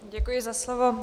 Děkuji za slovo.